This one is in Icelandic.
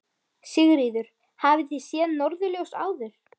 Sigríður: Hafið þið séð norðurljós áður?